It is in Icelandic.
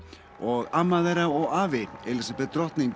og amma þeirra og afi Elísabet drotting